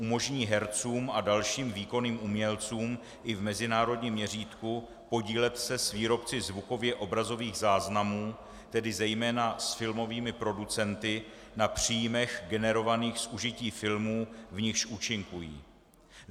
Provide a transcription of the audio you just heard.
Umožní hercům a dalším výkonným umělcům i v mezinárodním měřítku podílet se s výrobci zvukově obrazových záznamů, tedy zejména s filmovými producenty, na příjmech generovaných z užití filmů, v nichž účinkují.